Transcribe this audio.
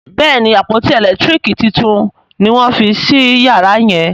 Béèni àpótí elekitiriki títún ní wón fí sí yàrá yen.